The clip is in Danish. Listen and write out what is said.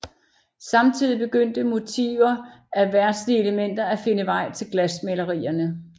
Samtidig begyndte motivfer af verdslige elementer at finde vej til glasmalerierne